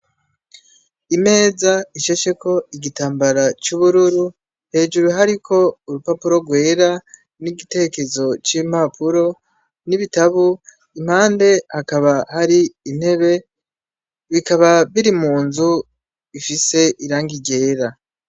Imeza ishasheko igitambara c’ubururu, hejuru hariko urupapuro gwera, n’igitekezo c’impapuro, n’ibitabo, impande hakaba hari intebe, bikaba biri munzu ifise irangi ryera.